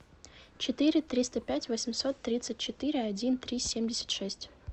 четыре триста пять восемьсот тридцать четыре один три семьдесят шесть